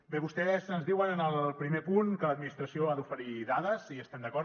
bé vostès ens diuen en el primer punt que l’administració ha d’oferir dades i hi estem d’acord